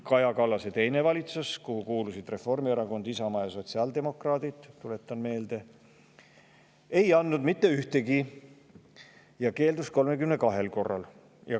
Kaja Kallase teine valitsus – tuletan meelde – kuhu kuulusid Reformierakond, Isamaa ja sotsiaaldemokraadid, ei andnud mitte ühtegi ja keeldus 32 korral.